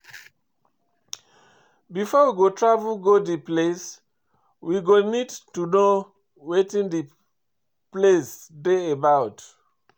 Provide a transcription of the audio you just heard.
Before we go travel go di place, we go need to know wetin di place dey about